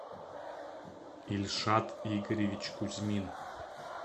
ильшат игоревич кузьмин